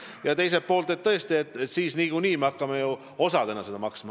Ja teiselt poolt, tõesti, nagunii me hakkame ju seda osadena maksma.